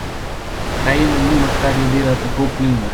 Kaj je na njima, kar ju dela tako vplivna?